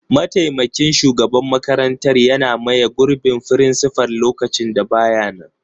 mataimakin shugaban makarantar yana maye gurbin frincifal lokacin da ba ya nan.